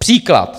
Příklad.